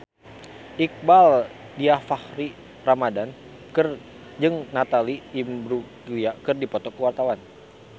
Iqbaal Dhiafakhri Ramadhan jeung Natalie Imbruglia keur dipoto ku wartawan